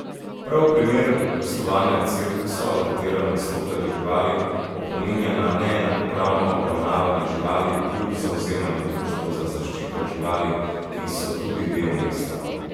Prav primer gostovanja cirkusa, v katerem nastopajo živali, opominja na neenakopravno obravnavanje živali, kljub zavzemanju društev za zaščito živali, ki so tudi del mesta.